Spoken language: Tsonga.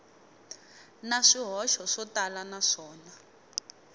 na swihoxo swo tala naswona